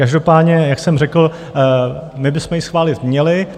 Každopádně, jak jsem řekl, my bychom ji schválit měli.